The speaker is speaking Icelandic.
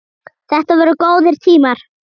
Þetta voru góðir tímar.